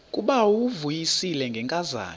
ngubawo uvuyisile ngenkazana